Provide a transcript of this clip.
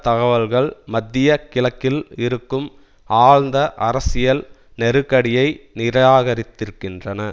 தகவல்கள் மத்திய கிழக்கில் இருக்கும் ஆழ்ந்த அரசியல் நெருக்கடியை நிராகரித்திருக்கின்றன